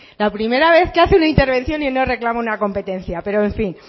la primera vez que hace una intervención y no reclama una competencia pero en fin